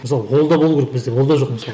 мысалы ол да болуы керек бізде ол да жоқ мысалы